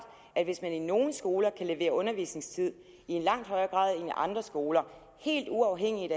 at hvis man på nogle skoler kan levere undervisningstid i langt højere grad andre skoler helt uafhængigt